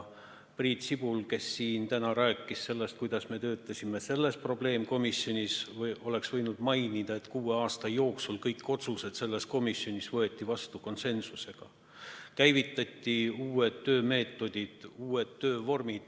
Priit Sibul, kes siin täna rääkis sellest, kuidas me töötasime selles probleemkomisjonis, oleks võinud mainida, et kuue aasta jooksul võeti kõik otsused selles komisjonis vastu konsensusega, käivitati uued töömeetodid, uued töövormid.